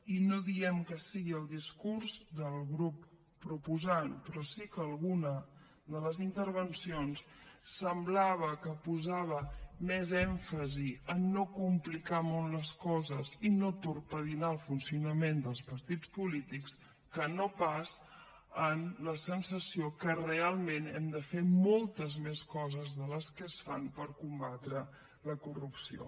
i no diem que sigui el discurs del grup proposant però sí que alguna de les intervencions semblava que posava més èmfasi en no complicar molt les coses i no torpedinar el funcionament dels partits polítics que no pas en la sensació que realment hem de fer moltes més coses que les que es fan per combatre la corrupció